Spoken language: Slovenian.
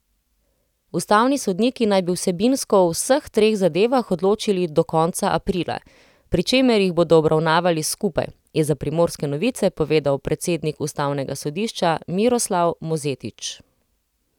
Ustavni sodniki naj bi vsebinsko o vseh treh zadevah odločili do konca aprila, pri čemer jih bodo obravnavali skupaj, je za Primorske novice povedal predsednik ustavnega sodišča Miroslav Mozetič.